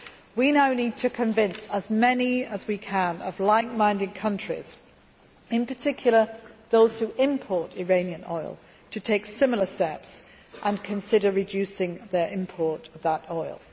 We now need to convince as many like minded countries as we can, in particular those who import Iranian oil, to take similar steps and consider reducing their import of that